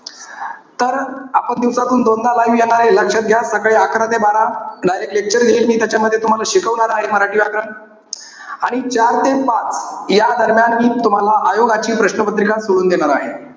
तर, आपण दिवसातून दोनदा live येणारे. लक्षात घ्या. सकाळी अकरा ते बारा. Direct lecture घेईल मी. त्याच्यामध्ये तुम्हाला शिकवणार आहे मराठी व्याकरण. आणि चार ते पाच या दरम्यान मी तुम्हाला आयोगाची प्रश्नपत्रिका सोडवून देणार आहे.